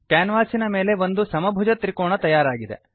ಕ್ಯಾನ್ವಾಸಿನ ಮೇಲೆ ಒಂದು ಸಮಭುಜ ತ್ರಿಕೋಣ ತಯಾರಾಗಿದೆ